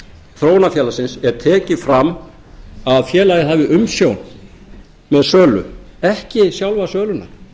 þróunarfélagsins er tekið fram að félagið hafi umsjón með sölu ekki sjálfa söluna